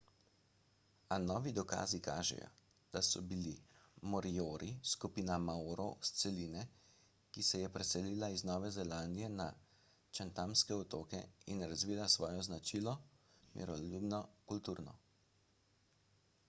a novi dokazi kažejo da so bili moriori skupina maorov s celine ki se je preselila iz nove zelandije na chathamske otoke in razvila svojo značilno miroljubno kulturo